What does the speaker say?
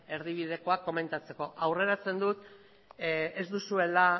erdibidekoa komentatzeko aurreratzen dut ez duzuela